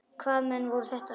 Hvaða menn voru þetta.